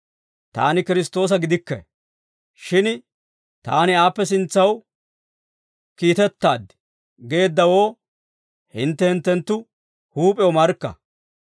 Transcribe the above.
‹Taani Kiristtoosa gidikke; shin taani aappe sintsaw kiitettaad› geeddawoo hintte hinttenttu huup'ew markka.